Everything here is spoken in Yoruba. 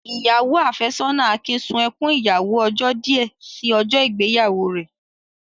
Ìyàwó áfẹ́sọ́nà Akin sun ẹkún ìyàwó ọjọ́ díẹ̀ sí ọjọ́ ìgbéyàwó rẹ̀.